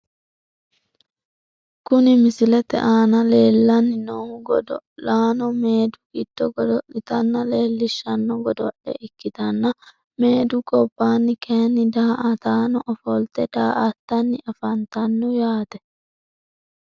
Kuni misilete aana leellanni noohu godo'laano meedu giddo godo'litanna leelishshanno godo'le ikkitanna , meedu gobbaanni kayinni daa''ataano ofolte daa''attanni afantanno yaate.